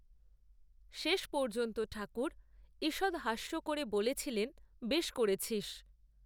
শেষ পর্যন্ত ঠাকুর ঈষৎ হাস্য করে বলেছিলেন বেশ করেছিস